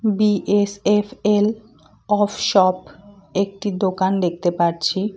BSFL of shop একটি দোকান দেখতে পাচ্ছি।